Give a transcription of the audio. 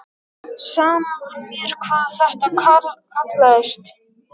Sama var mér hvað þetta kallaðist.